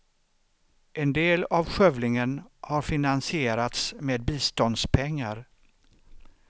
En del av skövlingen har finansierats med biståndspengar.